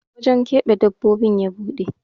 wajen keɓe dabbobin ya buɗe